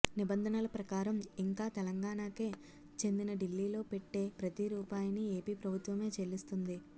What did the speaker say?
నిబంధనల ప్రకారం ఇంకా తెలంగాణకే చెందిన డీల్లీలో పెట్టే ప్రతిరూపాయిని ఏపీ ప్రభుత్వమే చెల్లిస్తుంది